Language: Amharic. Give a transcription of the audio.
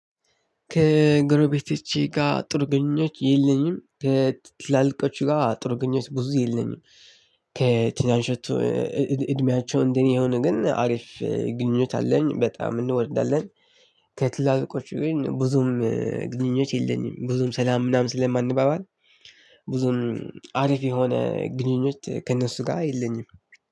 ከግሮቤቶቼ ጋር ጥሩ ግንኙነት የለኝም ከትላልቆቹ ጋር ጥሩ ግንኙነት ብዙ የለኝም። ከትናንሾቹ እድሜያቸው እንደኔ የሆነ ግን አሪፍ ግንኙነት አለኝ በጣም እንወዳለን። ከትላልቆቹ ግን ብዙም ግንኙነት የለኝም ብዙም ሰላም ምናምን ስለማንባባል። ብዙም አሪፍ የሆነ ግንኙነት ከነሱጋ የለኝም።